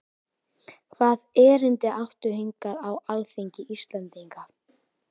Hvaða erindi áttu hingað á alþingi Íslendinga?